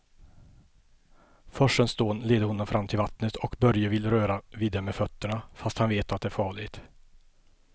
Forsens dån leder honom fram till vattnet och Börje vill röra vid det med fötterna, fast han vet att det är farligt.